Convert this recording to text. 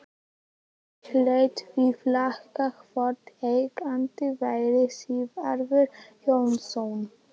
Ég lét því flakka hvort eigandinn væri Sigvarður Jónasson.